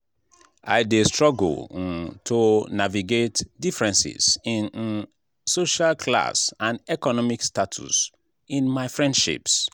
i dey struggle um to navigate differences in um social class and economic status in my friendships.